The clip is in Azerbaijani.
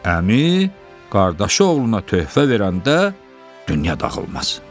Əmi, qardaşı oğluna töhfə verəndə dünya dağılmaz.